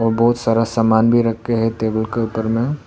बहुत सारा सामान भी रखे हैं टेबल के ऊपर में।